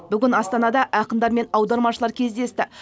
бүгін астанада ақындар мен аудармашылар кездесті